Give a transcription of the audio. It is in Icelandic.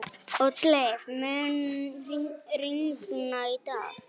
Oddleif, mun rigna í dag?